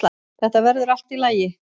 Þetta verður allt í lagi.